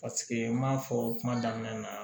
Paseke n m'a fɔ kuma daminɛ na